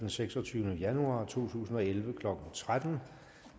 den seksogtyvende januar to tusind og elleve klokken tretten